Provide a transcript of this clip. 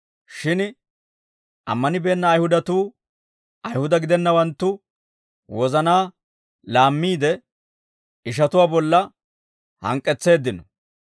Shin ammanibeenna Ayihudatuu Ayihuda gidennawanttu wozanaa laammiide, ishatuwaa bolla hank'k'etseeddino.